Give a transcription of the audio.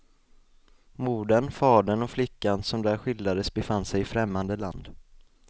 Modern, fadern och flickan som där skildrades befann sig i främmande land.